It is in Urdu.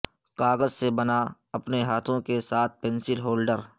کاغذ سے بنا اپنے ہاتھوں کے ساتھ پنسل ہولڈر